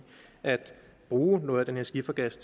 at bruge noget af den her skifergas